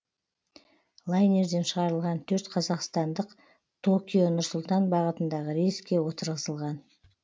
лайнерден шығарылған төрт қазақстандық токио нұр сұлтан бағытындағы рейске отырғызылған